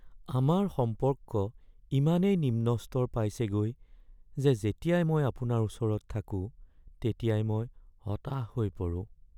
আমাৰ সম্পৰ্ক ইমানেই নিম্ন স্তৰ পাইছেগৈ যে যেতিয়াই মই আপোনাৰ ওচৰত থাকোঁ তেতিয়াই মই হতাশ হৈ পৰোঁ।